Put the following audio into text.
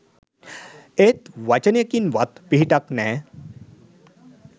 ඒත් වචනයකින්වත් පිහිටක් නෑ.